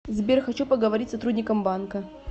сбер хочу поговорить с сотрудником банка